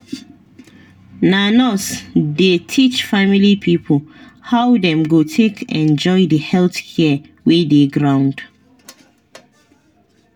na nurses dey teach family pipo how dem go take enjoy the health care wey dey ground.